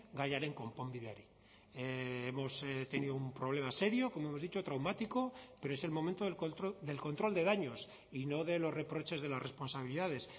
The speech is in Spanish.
gaiaren konponbideari hemos tenido un problema serio como hemos dicho traumático pero es el momento del control de daños y no de los reproches de las responsabilidades